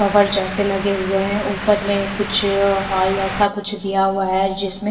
cover जैसे लगे हुए हैं ऊपर में कुछ हॉल जैसा कुछ दिया हुआ है जिसमें--